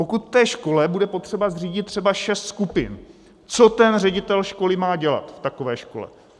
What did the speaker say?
Pokud v té škole bude potřeba zřídit třeba šest skupin, co ten ředitel školy má dělat v takové škole?